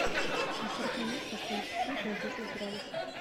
на сорок минут поставить сплит на десять градусов